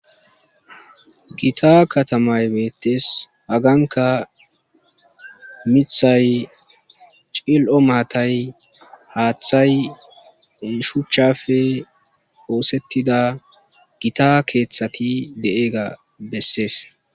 gita katamay beettes aganka mithay cil7o maatay haaththay shuchchafe oosettida gita keeththati de7eega bessees